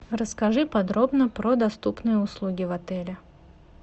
расскажи подробно про доступные услуги в отеле